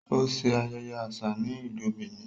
O ṣe ayẹyẹ aṣa ni Ilú Benin